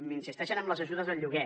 insisteixen en les ajudes al lloguer